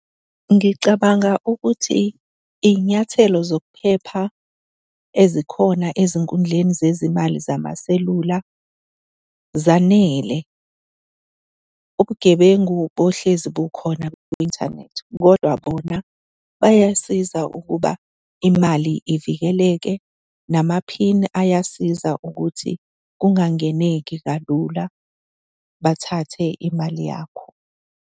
Ngicabanga ukuthi iy'nyathelo zokuphepha ezikhona ezinkundleni zezimali zamaselula, zanele. Ubugebengu bohlezi bukhona kwi-inthanethi, kodwa bona bayasiza ukuba imali ivikeleke, namaphini ayasiza ukuthi kungangeneki kalula bathathe imali yakho.